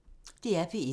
DR P1